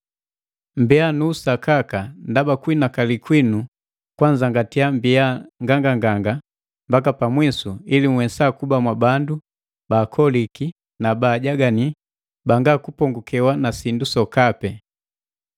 Mmbiya nu usakaka ndaba kuhinakali kwinu kwanzangatia mbiya nganganganga mbaka pamwisu ili nhwesa kuba mwabandu baakoliki na baajagani, banga kupongukewa na sindu sokapi.